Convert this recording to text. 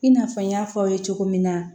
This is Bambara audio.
I n'a fɔ n y'a fɔ aw ye cogo min na